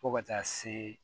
Fo ka taa se